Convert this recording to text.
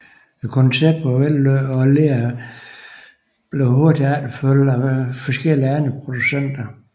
Konceptet var vellykket og Lear blev hurtigt efterfulgt af forskellige andre producenter